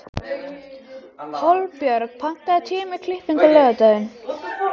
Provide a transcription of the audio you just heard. Hólmbjörg, pantaðu tíma í klippingu á laugardaginn.